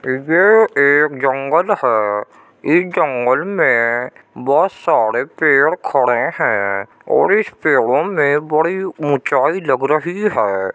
ये एक जंगल है। इस जंगल में बोहोत सारे पेड़ खड़े हैं और इस पेड़ों में बड़ी ऊंचाई लग रही हैं।